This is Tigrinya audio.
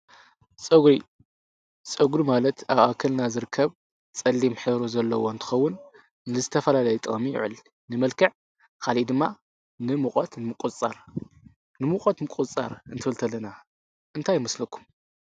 ጸጕሪ ጸጕሪ ማለት ኣኣክልና ዝርከብ ጸሊም ኂይይሩ ዘለዎ ኣንትኸውን ንዝተፈልለይ ጠሚ ይዕል ንመልከዕ ኻልእ ድማ ንምት ምቊጻር ንምቖት ምቈጻር እንትወልተለና እንታይምስለኩ?